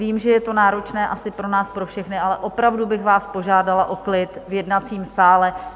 Vím, že je to náročné asi pro nás pro všechny, ale opravdu bych vás požádala o klid v jednacím sále.